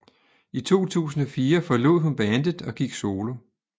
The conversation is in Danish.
I 2004 forlod hun bandet og gik solo